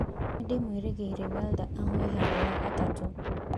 Nĩndĩmwĩrĩgĩire Wilder ahoe haro ya gatatũ